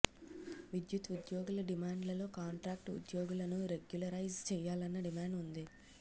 విద్యుత్ ఉద్యోగుల డిమాండ్లలో కాంట్రాక్టు ఉద్యోగులను రెగ్యులరైజ్ చేయాలన్న డిమాండ్ ఉంది